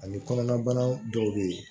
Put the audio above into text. Ani kɔnɔna bana dɔw bɛ yen